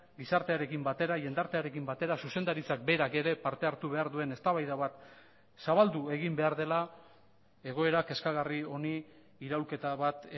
gizartearekin batera jendartearekin batera zuzendaritzak berak ere parte hartu behar duen eztabaida bat zabaldu egin behar dela egoera kezkagarri honi iraulketa bat